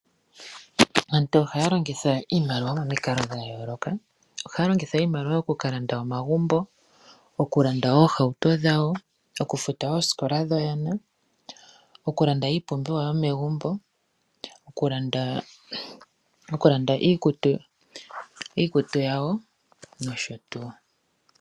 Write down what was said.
Aantu ohaya longitha iimaliwa momikalo dha yooloka. Ohaya longitha iimaliwa okukalanda omagumbo okukalanda ooohauto dhawo, okufuta oosikola dhoyana, okulanda iipumbiwa yomegumbo, okulanda iikutu yawo nosho tuu.